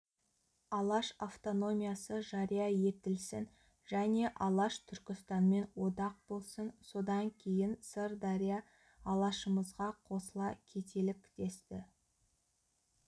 алаш автономиясы жария етілсін және алаш түркістанмен одақ болсын содан кейін сырдария алашымызға қосыла кетелік десті